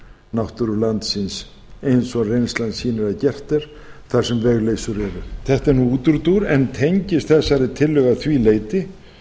náttúru landsins eins og reynslan sýnir að gert er þar sem vegleysur eru þetta er nú útúrdúr en tengist þessari tillögu að því leyti